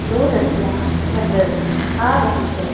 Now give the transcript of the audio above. दो लड़कियां नजर आ रही है।